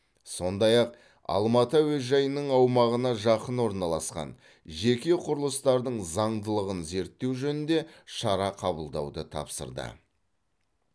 сондай ақ алматы әуежайының аумағына жақын орналасқан жеке құрылыстардың заңдылығын зерттеу жөнінде шара қабылдауды тапсырды